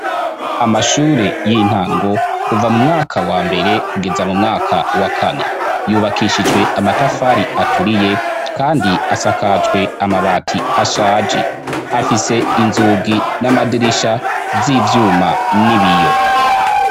amashure y'intango kuva mu mwaka wa mbere kugeza mu mwaka wa kane yubakishijwe amatafari aturiye kandi asakajwe amabati ashaje afise inzugi n'amadirisha z'ivyuma n'ibiyo